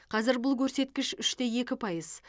қазір бұл көрсеткіш үш те екі пайыз